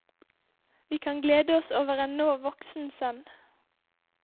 Vi kan glede oss over en nå voksen sønn.